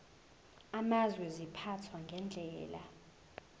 amazwe ziphathwa ngendlela